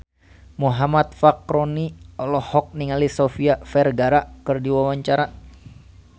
Muhammad Fachroni olohok ningali Sofia Vergara keur diwawancara